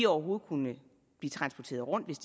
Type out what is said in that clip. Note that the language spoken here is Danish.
overhovedet kunne blive transporteret rundt hvis